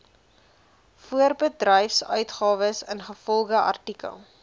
voorbedryfsuitgawes ingevolge artikel